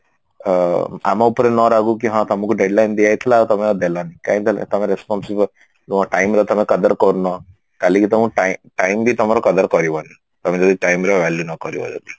ଅ ଆମ ଉପରେ ନ ରାଗୁ କି ହଁ ତମକୁ deadline ଦିଆ ହେଇଥିଲା ଆଉ ତମେ ଦେଲନି କାଇଁ ଦେଲନି ତମ responsible ତୁମ time ର ତମେ कदर କରୁନ କାଲିକି ତମ time time ବି ତମର कदर କରିବନି ତମେ ଯଦି time ର value ନକରିବ ଯଦି